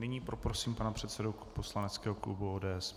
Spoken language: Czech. Nyní poprosím pana předsedu poslaneckého klubu ODS.